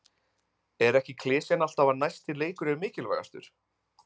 Er ekki klisjan alltaf að næsti leikur er mikilvægastur?